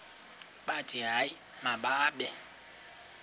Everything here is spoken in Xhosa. bathi hayi mababe